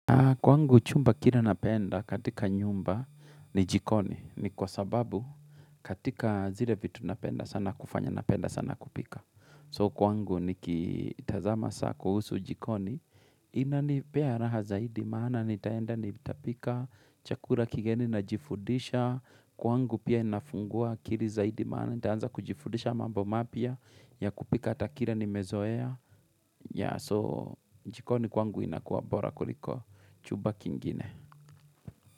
Kwangu chumba kile napenda katika nyumba ni jikoni ni kwa sababu katika zile vitu napenda sana kufanya napenda sana kupika. So kwangu nikitazama saa kuhusu jikoni inanipea raha zaidi maana nitaenda nitapika chakula kigeni najifundisha. Kwangu pia inafungua akili zaidi maana nitaanza kujifundisha mambo mapya ya kupika ata kile nimezoea ya so jikoni kwangu inakuwa bora kuliko chumba kingine.